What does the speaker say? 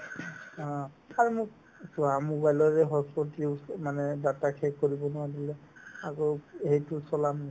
অ, আৰু মোক চোৱা mobile ৰে hotspot use এই মানে data শেষ কৰিব নোৱাৰিলো আকৌ সেইটোত চলাম